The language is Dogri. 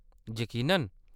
यकीनन !